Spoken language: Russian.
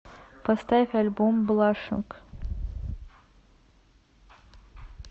поставь альбом блашинг